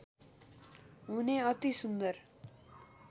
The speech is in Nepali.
हुने अति सुन्दर